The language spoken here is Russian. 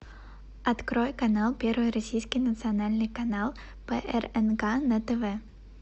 открой канал первый российский национальный канал прнк на тв